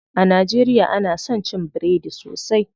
A najeriya ana son cin biredi sosai.